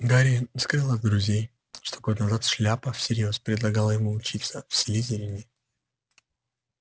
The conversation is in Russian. гарри скрыл от друзей что год назад шляпа всерьёз предлагала ему учиться в слизерине